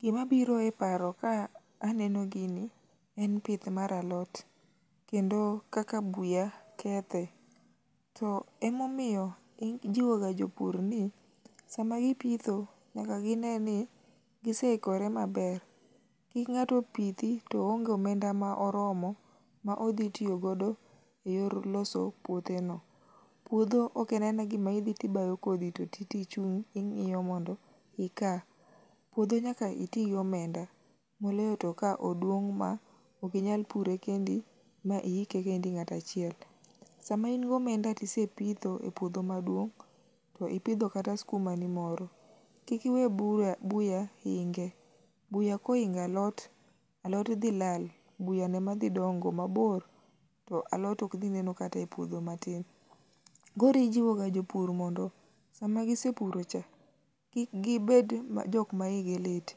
Gima biro e paro ka aneno gini, en pith mar alot. Kendo kaka buya kethe. To emomiyo ijiwoga jopur ni sama gipitho nyaka gine ni giseikore maber kik ng'ato pithi to oonge omenda ma oromo maodhi tiyo godo eyor loso puotheno. Puodho ok en anena gima idhi to ibayo kodhi toti to ichung' ing'iyo mondo ika. Puodho nyaka iti gi omenda. Moloyo to ka oduong' maok inyal pure kendi ma iike kendi ng'ato achiel. Sama in gi omenda to isepitho e puodho maduong' to ipidho kata sikumani ni moro, kik iwe buya buya inge, buya ka oingo alot, alot dhi lal. Buyano ema dhi dongo mabor to alot to ok dhi neno kata epuodho matn. Koro ijiwoga jopur ni sama gise puroga cha, kik gibed jok maigi lit.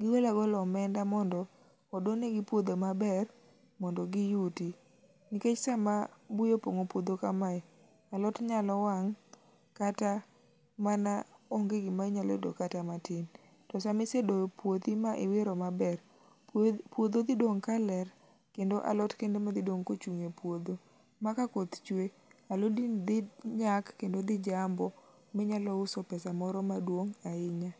Gi gol agola omenda mondo odonigi puodho maber mondo giyuti. Nikech sama buya opong'o puodho amae, alot nyalo wang' kata mana onge gima nyalo dok kata matin. To sama isedoyo uothi ma iwiro maber, puodho dhi dong' ka ler kendo alot kende ema dhi dong' kochung' e pudho, maka koth chwe, alodi dhi nyak kendo dhi jambo ma inyalo uso pesa maduong' ahinya.